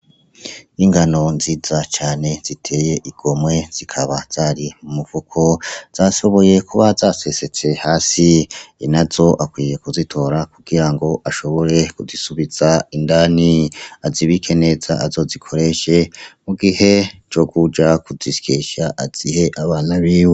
Ingano nziza cane ziteye igomwe zikaba zari mu mufuko, zashoboye kuba zasesetse hasi, inazo akwiye kuzitora kugirango ashobore kuzisubiza indani, azibike neza azozikoreshe mu gihe co kuja kuzisyesha azihe abana biwe.